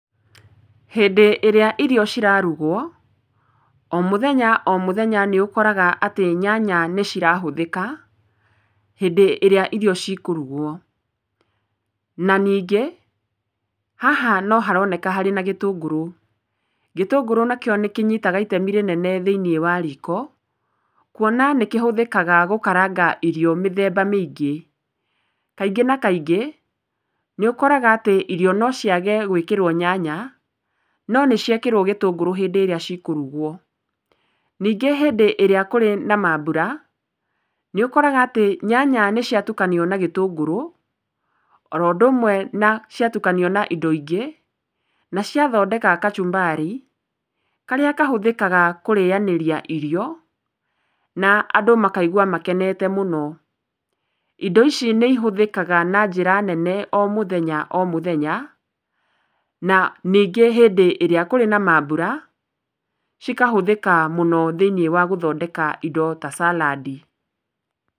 Hĩndĩ ĩrĩa irio cirarugwo, o mũthenya o mũthenya nĩũkoraga atĩ nyanya nĩcirahũthĩka hĩndĩ ĩrĩa irio cikũrugwo. Na ningĩ haha noharoneka harĩ na gĩtũngũrũ. Gĩtũngũrũ nakĩo nĩkĩnyitaga itemi rĩnene thĩiniĩ wa riko, kuona nĩkĩhũthĩkaga gũkaranga irio mĩthemba mĩingĩ. Kaingĩ na kaingĩ nĩũkoraga atĩ irio nociage gwĩkĩrwo nyanya no nĩciekĩrwo gĩtũngũrũ hĩndĩ ĩrĩa cikũrugwo. Ningĩ hĩndĩ ĩrĩa kũrĩ na mambũra nĩũkoraga atĩ nyanya nĩciatukanio na gĩtũngũrũ oro ũndũ ũmwe ciatukanio na indo ingĩ na ciathondeka kachumbari, karĩa kahũthĩkaga kũrĩanĩria irio na andũ makaigwa makenete mũno. Indo ici nĩihũthĩkaga na njĩra nene o mũthenya o mũthenya na ningĩ hĩndĩ ĩrĩa kũrĩ na mambura cikahũthĩka mũno thĩiniĩ wa gũthondeka indo ta salad.